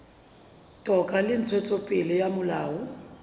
toka le ntshetsopele ya molao